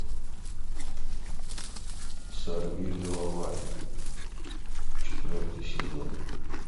сорвиголова четвертый сезон